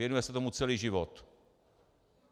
Věnuje se tomu celý život.